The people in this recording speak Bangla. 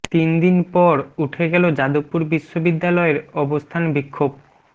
তিন দিন পর উঠে গেল যাদবপুর বিশ্ববিদ্যালয়ের অবস্থান বিক্ষোভ